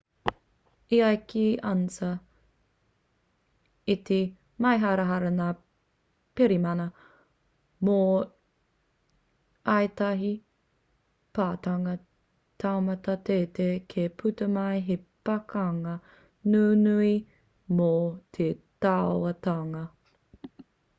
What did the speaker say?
e ai ki a ansa i te māharahara ngā pirihimana mō ētahi patunga taumata teitei kei puta mai he pakanga nunui mō te tauatanga